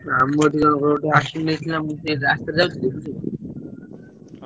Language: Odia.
ଆମ ଦିଜଣ ଙ୍କ accident ହେଇଥିଲା ମୁଁ ସେଇ ରାସ୍ତାରେ ଯାଉଥିଲି ବୁଝିଲ।